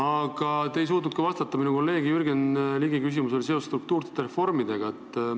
Ja te ei suutnud vastata ka kolleeg Jürgen Ligi küsimusele struktuursete reformide kohta.